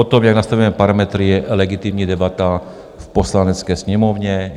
O tom, jak nastavujeme parametry, je legitimní debata v Poslanecké sněmovně.